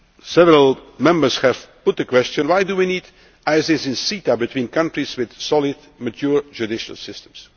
future negotiations. Several Members put the question why do we need ISDS in a CETA between countries with solid, mature